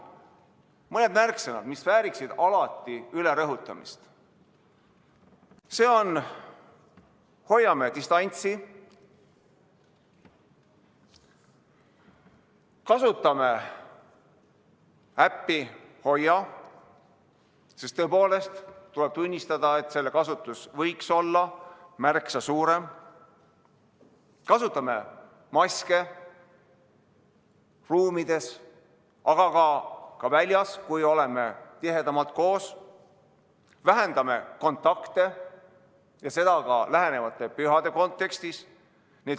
Mõned märksõnad, mis vääriksid alati rõhutamist: hoiame distantsi; kasutame äppi HOIA, sest tõepoolest tuleb tunnistada, et selle kasutus võiks olla märksa suurem; kasutame maske ruumides, aga ka väljas, kui oleme tihedamalt koos; vähendame kontakte, ja seda ka lähenevate pühade kontekstis.